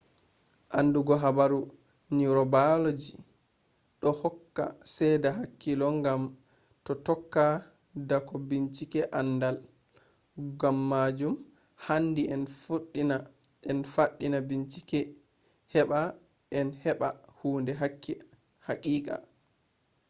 andugo habaru neurobiology do hokka seeda hakika gam do tokka doka binchike andal. gammajum handi en faddina bincike heba en heba hunde hakika